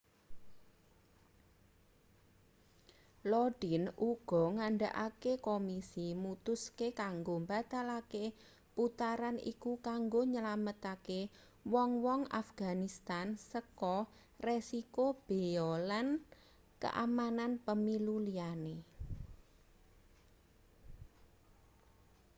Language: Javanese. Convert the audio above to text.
lodin uga ngandhakake komisi mutuske kanggo mbatalake putaran iku kanggo nylametake wong-wong afganistan saka resiko beya lan keamanan pemilu liyane